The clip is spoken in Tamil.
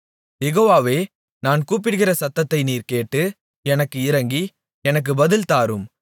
யெகோவாவே நான் கூப்பிடுகிற சத்தத்தை நீர் கேட்டு எனக்கு இரங்கி எனக்கு பதில் தாரும்